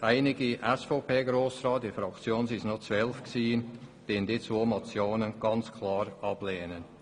Einige SVPGrossräte und ich lehnen diese Motionen ganz klar ab.